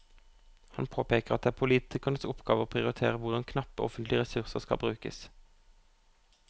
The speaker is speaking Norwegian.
Han påpeker at det er politikernes oppgave å prioritere hvordan knappe offentlige ressurser skal brukes.